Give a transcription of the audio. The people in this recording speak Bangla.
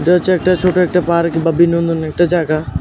এটা হচ্ছে একটা ছোট একটা পার্ক বা বিনন্দনের একটা জায়গা।